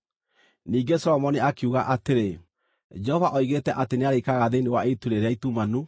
Ningĩ Solomoni akiuga atĩrĩ, “Jehova oigĩte atĩ nĩarĩikaraga thĩinĩ wa itu rĩrĩa itumanu;